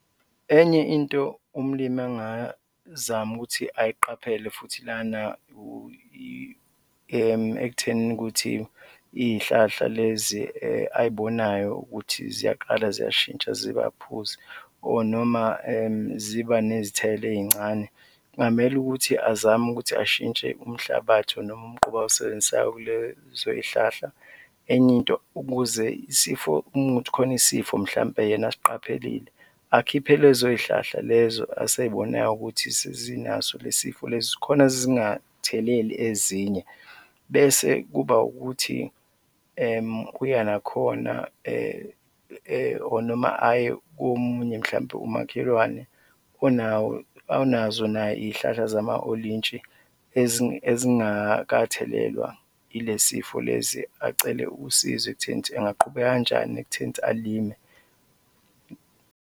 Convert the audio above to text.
Enye into umlimi angazama ukuthi ayiqaphele futhi lana ekuthenini ukuthi iy'hlahla lezi ay'bonayo ukuthi ziyaqala ziyashintsha ziba phuzi or noma ziba nezithelo ey'ncane, kungamele ukuthi azame ukuthi ashintshe umhlabathi or noma umquba awusebenzisayo kulezo zihlahla. Enye into, ukuze isifo, uma kuwukuthi kukhona isifo mhlawumbe yena asiqaphelile, akhiphe lezo zihlahla lezo asey'bonayo ukuthi sezinaso le sifo lesi, khona zingatheleli ezinye bese kuba ukuthi uya nakhona or noma aye komunye, mhlawumbe umakhelwane onawo, onazo naye iy'hlahla zama olintshi ezingakathelelwa ile sifo lesi, acele usizo ekutheni ukuthi angaqhubeka kanjani ekutheni ukuthi alime.